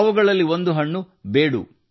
ಅವುಗಳಲ್ಲಿ ಒಂದು ಹಣ್ಣು ಬೇಡು